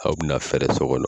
Aw bi na fɛɛrɛ so kɔnɔ.